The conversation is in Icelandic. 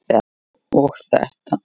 og þetta